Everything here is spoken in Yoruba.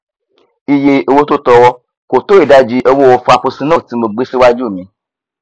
iye owó tó tọọrọ kò tó ìdajì owo frapuccinno tí mo gbé síwájú mi